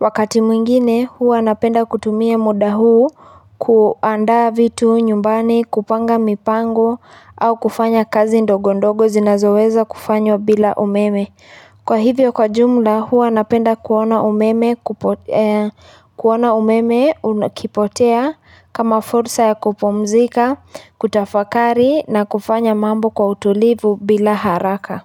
Wakati mwingine huwa napenda kutumia muda huu kuandaa vitu nyumbani kupanga mipango au kufanya kazi ndogondogo zinazoweza kufanywa bila umeme. Kwa hivyo kwa jumla huwa napenda kuona umeme ukipotea kama fursa ya kupumzika, kutafakari na kufanya mambo kwa utulivu bila haraka.